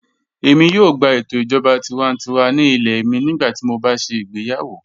Èmi yóò gbà ètò ìjọba tìwántíwà ní ilẹ̀ mi nígbàtí mó bá ṣé igbèyàwó